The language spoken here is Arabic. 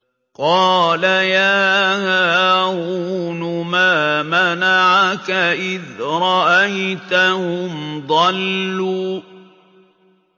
قَالَ يَا هَارُونُ مَا مَنَعَكَ إِذْ رَأَيْتَهُمْ ضَلُّوا